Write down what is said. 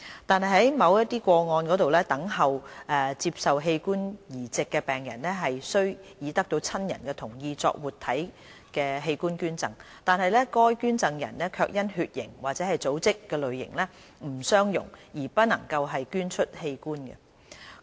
但在某些個案中，等候接受器官移植的病人雖已得到親人同意作活體器官捐贈，但該捐贈人卻因血型或組織類型不相容而不能捐出器官。